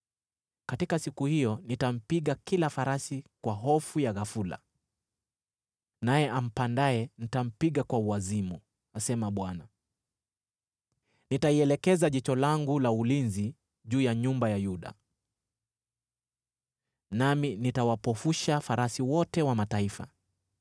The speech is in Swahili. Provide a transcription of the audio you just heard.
Katika siku hiyo nitampiga kila farasi kwa hofu ya ghafula, naye ampandaye nitampiga kwa uwazimu,” asema Bwana . “Nitalielekeza jicho langu la ulinzi juu ya nyumba ya Yuda, nami nitawapofusha farasi wote wa mataifa.